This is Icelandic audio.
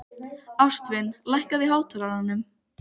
Ástvin, lækkaðu í hátalaranum.